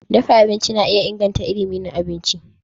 Dafa abinci na iya inganta ilimi na abinci.